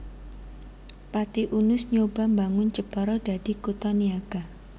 Pati Unus nyoba mbangun Jepara dadi kutha niaga